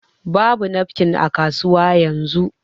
Babu nafkin a kasuwa yanzu